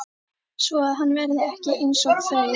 Svoað hann verði ekki einsog þau.